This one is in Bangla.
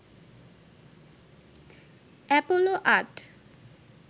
অ্যাপোলো ৮